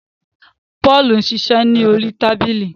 Paul ń ṣiṣẹ lórí tábìlì